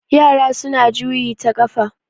yara suna juyi ta kafa